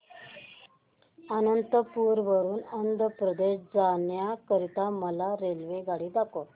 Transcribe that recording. अनंतपुर वरून आंध्र प्रदेश जाण्या करीता मला रेल्वेगाडी दाखवा